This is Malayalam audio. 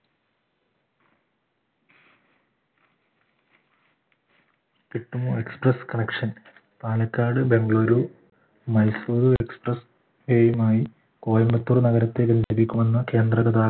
കിട്ടുമോ express connection Palakkad Bengaluru Mysore express എയുമായി കോയമ്പത്തൂർ നഗരത്തെ കേന്ദ്ര